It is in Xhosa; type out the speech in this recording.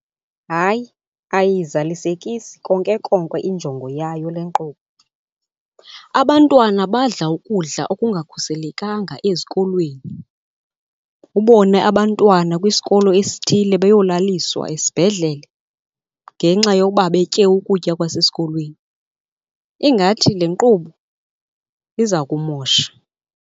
Hayi, ayiyizalisekisi konke konke injongo yayo le nkqubo. Abantwana badla ukudla okungakhuselekanga ezikolweni, ubone abantwana kwisikolo esithile beyolaliswa esibhedlele ngenxa yokuba betye ukutya kwasesikolweni. Ingathi le nkqubo iza kumosha.